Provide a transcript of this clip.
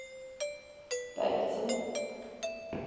baberton